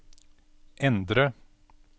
endre